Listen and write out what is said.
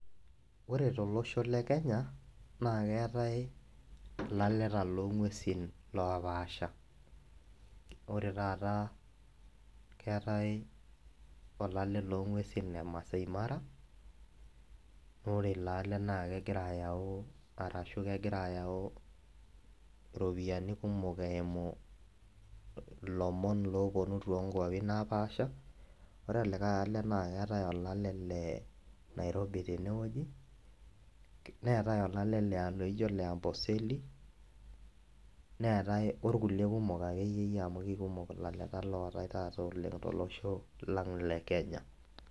Ore tolosho lekenya na keetae laleta longwesin lopaasha ore taata keetae olale longwesi le masaai mara ore ilo alale na kegira ayau ashu kegira ayau ropiyani kumok eimu lomon oponu tonkwapi naapasha ore olikae ale na keetae olale na nairobi tenewueji neatae olale lijo le Amboseli, neatae orkulie kumok akeyie amu kekumok laleta ootae oleng tolosholang le Kenya.